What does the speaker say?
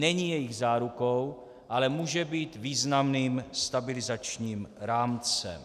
Není jejich zárukou, ale může být významným stabilizačním rámcem.